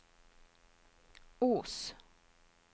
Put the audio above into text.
Os